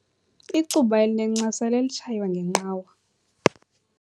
Icuba elinencasa lelitshaywa ngenqawa.